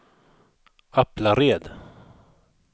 Aplared